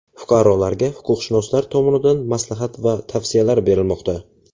Fuqarolarga huquqshunoslar tomonidan maslahat va tavsiyalar berilmoqda.